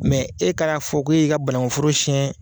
Mɛ e kan'a fɔ ko e y'i ka bankun foro siɲɛ